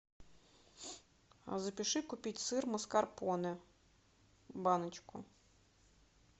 запиши купить сыр маскарпоне баночку